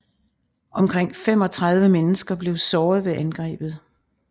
Omkring 35 mennesker blev såret ved angrebet